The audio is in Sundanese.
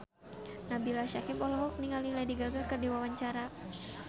Nabila Syakieb olohok ningali Lady Gaga keur diwawancara